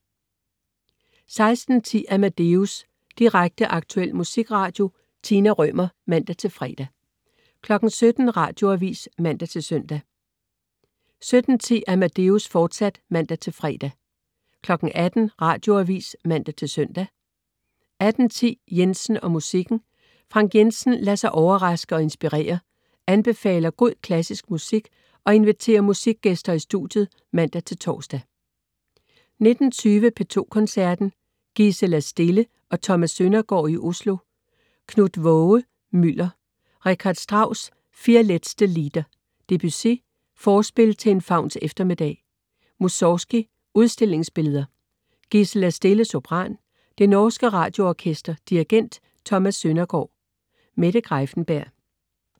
16.10 Amadeus. Direkte, aktuel musikradio. Tina Rømer (man-fre) 17.00 Radioavis (man-søn) 17.10 Amadeus, fortsat (man-fre) 18.00 Radioavis (man-søn) 18.10 Jensen og musikken. Frank Jensen lader sig overraske og inspirere, anbefaler god klassisk musik og inviterer musikgæster i studiet (man-tors) 19.20 P2 Koncerten. Gisela Stille og Thomas Søndergård i Oslo. Knut Vaage: Mylder. Richard Strauss: Vier letzte Lieder. Debussy: Forspil til en fauns eftermiddag. Mussorgskij: Udstillingsbilleder. Gisela Stille, sopran. Det norske Radioorkester. Dirigent: Thomas Søndergård. Mette Greiffenberg